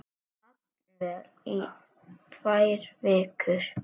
Jafnvel í tvær vikur.